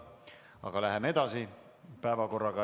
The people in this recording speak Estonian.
Aga läheme edasi.